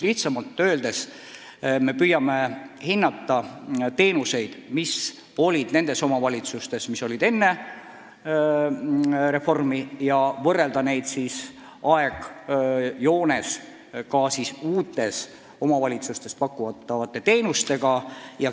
Lihtsamalt öeldes me püüame hinnata teenuseid, mida osutati omavalitsustes, mis olid enne reformi, ja võrrelda neid uutes omavalitsustes pakutavate teenustega.